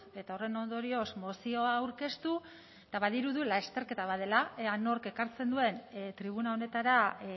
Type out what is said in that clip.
eta horren ondorioz mozioa aurkeztu eta badirudi lasterketa bat dela ea nork ekartzen duen tribuna honetara